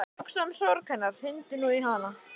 Hugsaðu um sorg hennar, hringdu nú í hana.